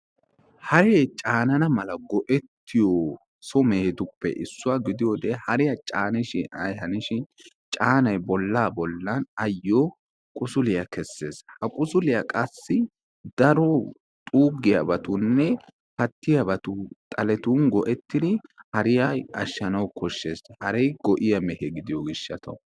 Hare caanana mala go"etiyo so mehetuppe issuwa gidiyoode hariyaa caanishin ay hanishin caanay bolla bollan ayyo qusuliyaa keessees, ha qusuliya qassi daro xuuggiyaabatunne pattiyaabatun xalettun go'ettdi hariyaa ashshanaw koshshees. Hare go"iyaa meehe gidiyo gishshaw.